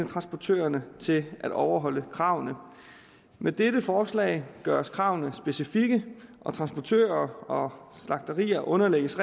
transportørerne til at overholde kravene med dette forslag gøres kravene specifikke og transportører og slagterier underlægges